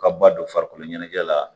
Ka ba don farikolo ɲɛnajɛ la